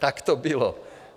Tak to bylo.